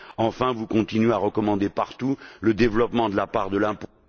Enfin, vous continuez à recommander partout le développement de la part de l'impôt...